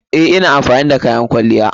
Eh, ina amfani da kayan kwalliya.